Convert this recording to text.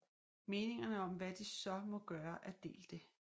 Meningerne om hvad de så må gøre er delte